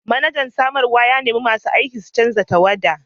Manajan samarwa ya nemi masu aiki su canza tawada!